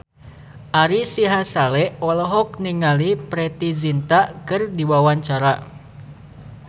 Ari Sihasale olohok ningali Preity Zinta keur diwawancara